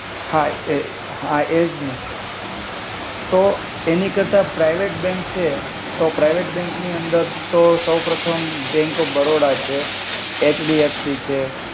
હા એ હા એજ ને તો એની કર્તા પ્રિવેટ બેંક છે તો પ્રિવેટ બેંક એની અંદર તો સૌપ્રથમ બેંક ઓફ બરોડા છે એચડીએફસી છે.